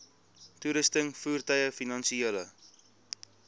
toerusting voertuie finansiële